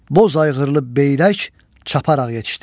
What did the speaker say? Boz ayğrılı Beyrək çaparaq yetişdi.